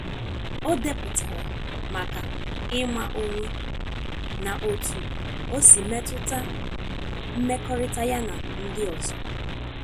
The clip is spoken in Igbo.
o depụtara maka ịma onwe na otu osi metuta mmekọrịta ya na ndị ọzọ